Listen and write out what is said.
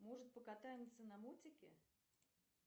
может покатаемся на мотике